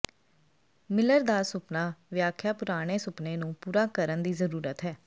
miller ਦਾ ਸੁਪਨਾ ਵਿਆਖਿਆ ਪੁਰਾਣੇ ਸੁਪਨੇ ਨੂੰ ਪੂਰਾ ਕਰਨ ਦੀ ਜ਼ਰੂਰਤ ਹੈ